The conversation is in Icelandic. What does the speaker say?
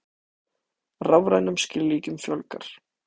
Rafrænum skilríkjum fjölgar